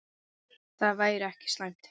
Það væri ekki slæmt.